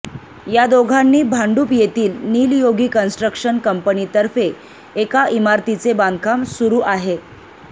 या दोघांनी भांडुप येथील निलयोगी कंस्ट्रक्शन कंपनीतर्फे एका इमारतीचे बांधकाम सुरू आहे